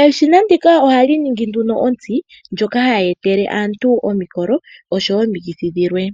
Eshina ndika ohali ningi nduno ontsi, ndjoka ha yeetele aantu omikolo nosho woo omikithi dhilwe.